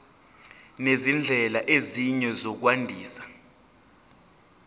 nezindlela ezinye zokwandisa